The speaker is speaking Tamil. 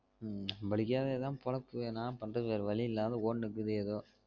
உம் நம்ம்பளுக்கே இதான் பொழப்பு என்னா பண்றது வேற வலி இல்லாத ஓடுன்னு இருக்குது ஏதோ